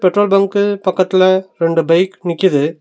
Petrol bunk பக்கத்துல ரெண்டு bike நிக்கிது.